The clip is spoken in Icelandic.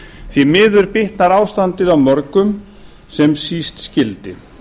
því miður bitnar ástandið á mörgum sem síst skyldi